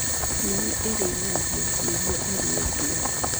Nyau ĩrĩithagio nĩguo ĩrĩe mbĩa.